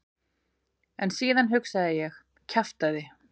En síðan hugsaði ég: kjaftæði.